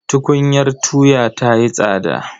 Tukunyar tuya ta yi tsada.